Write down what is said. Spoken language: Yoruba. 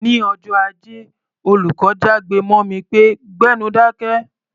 Ní ọjọ́ Ajé, olùkọ́ jágbe mọ́ mi pé "gbẹ́nu dákẹ́!"